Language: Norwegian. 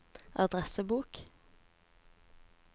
adressebok